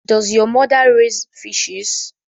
Does your mother raise fishes